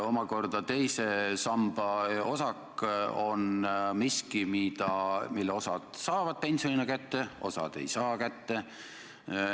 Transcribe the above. Omakorda teise samba osak on miski, mille osa inimesi saab pensionina kätte, osa inimesi ei saa kätte.